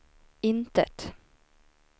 intet